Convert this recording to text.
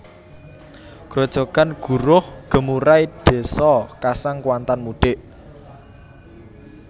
Grojogan Guruh Gemurai Désa Kasang Kuantan Mudik